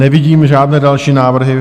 Nevidím žádné další návrhy.